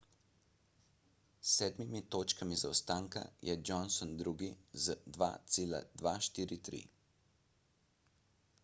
s sedem točkami zaostanka je johnson drugi z 2.243